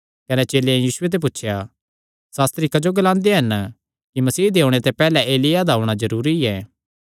कने चेलेयां यीशुये ते पुछया सास्त्री क्जो ग्लांदे हन कि मसीह दे ओणे ते पैहल्ले एलिय्याह दा औणां जरूरी ऐ